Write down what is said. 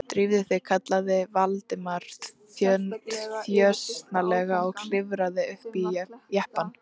Drífðu þig- kallaði Valdimar þjösnalega og klifraði upp í jeppann.